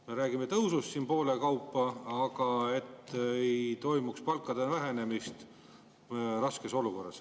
Me räägime tõusust ettenähtust poole võrra, aga et ei toimuks palkade vähenemist raskes olukorras.